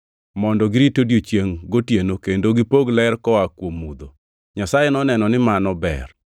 mondo girit odiechiengʼ gotieno, kendo gipog ler koa kuom mudho. Nyasaye noneno ni mano ber.